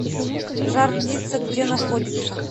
жар птица где находится